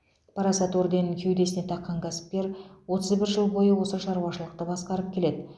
парасат орденін кеудесіне таққан кәсіпкер отыз бір жыл бойы осы шаруашылықты басқарып келеді